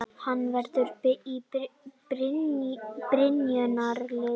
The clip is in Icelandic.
Hann verður í byrjunarliðinu